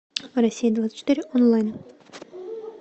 россия двадцать четыре онлайн